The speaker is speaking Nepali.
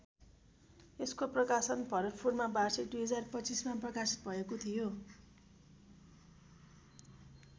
यसको प्रकाशन भरतपुमा वार्षिक २०२५ मा प्रकाशित भएको थियो।